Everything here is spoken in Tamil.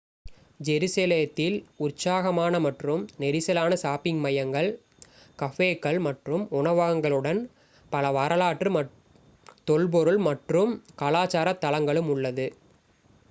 ஜெருசலேத்தில் உற்சாகமான மற்றும் நெரிசலான ஷாப்பிங் மையங்கள் கஃபேக்கள் மற்றும் உணவகங்களுடன் பல வரலாற்று தொல்பொருள் மற்றும் கலாச்சார தளங்களும் உள்ளது